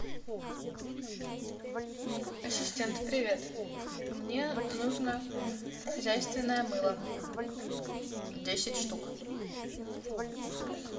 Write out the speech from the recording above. ассистент привет мне нужно хозяйственное мыло десять штук